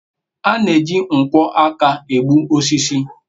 a na-eji nkwo aka na-egbu osisi